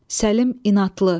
Səlim, inadlı.